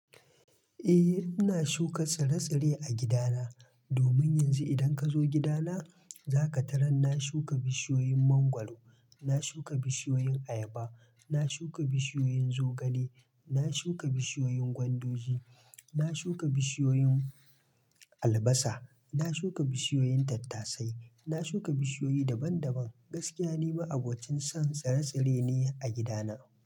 Eh, ina shuka tsire-tsire a gidana. Domin yanzu idan ka zo gidana, zaka tarar na shuka bishiyoyin mangwaro, na shuka bishiyoyin ayaba, na shuka bishiyoyin zogale, na shuka bishiyoyin gwanduji, na shuka bishiyoyin albasa, na shuka bishiyoyin tattasai. Na shuka bishiyoyi daban-daban. Gaskiya ni ma abocin son tsire-tsire ne a gidana.